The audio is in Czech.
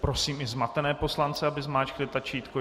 Prosím i zmatené poslance, aby zmáčkli tlačítko.